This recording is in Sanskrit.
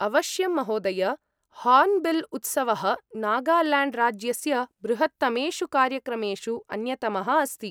अवश्यं, महोदय! हार्न्बिल्उत्सवः नागाल्याण्ड्राज्यस्य बृहत्तमेषु कार्यक्रमेषु अन्यतमः अस्ति।